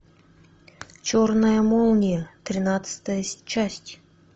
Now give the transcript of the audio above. черная молния тринадцатая часть